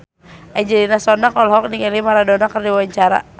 Angelina Sondakh olohok ningali Maradona keur diwawancara